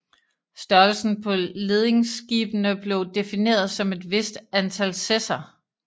Størrelsen på ledingskibene blev defineret som et vist antal sesser